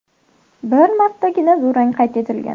Bir martagina durang qayd etilgan.